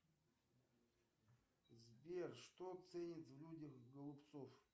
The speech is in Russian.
сбер что ценит в людях голубцов